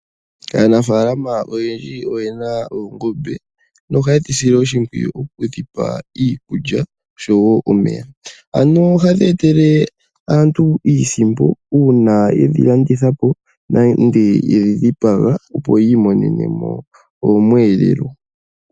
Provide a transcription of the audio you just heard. Aanafaalama oyendji oyena oongombe , nohaye dhi sile oshimpwiyu oku dhi paiikulya osho wo omeya. Ohadhi etele aantu iisimpo uuna ye dhi landithapo nenge ye dhi dhipaga opo ya imonene omweelelo.